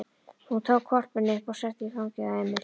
Hún tók hvolpinn upp og setti í fangið á Emil.